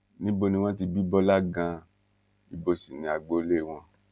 níbo ni wọn ti bí bọlá ganan ibo sì ni agboolé wọn